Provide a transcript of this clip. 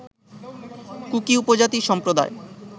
cookie উপজাতি সম্প্রদায়